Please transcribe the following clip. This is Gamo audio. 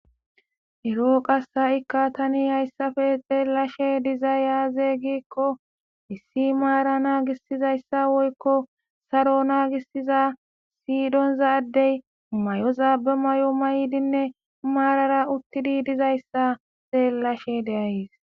eroo qasa7ikka tani hayssafe xeellashe dizay azey gikko issi maara naagisizayssa woykko saro naagisiza siydonzaaddey may7ozaabe may7o may7dinne maarara uttidi dizayssa xeellashe de7ays